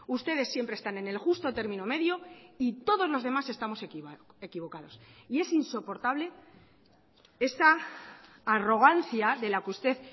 ustedes siempre están en el justo término medio y todos los demás estamos equivocados y es insoportable esa arrogancia de la que usted